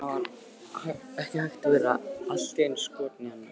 Það var ekki hægt að verða allt í einu skotinn í annarri.